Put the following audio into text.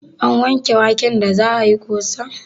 An wanke waken da za ayi ƙosan?